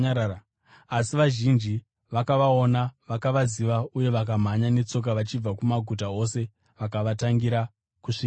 Asi vazhinji vakavaona vakavaziva uye vakamhanya netsoka vachibva kumaguta ose vakavatangira kusvikako.